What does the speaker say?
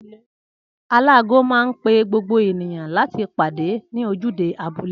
Aláago man pe gbogbo ènìyàn láti pàdé ní ojúde abúlé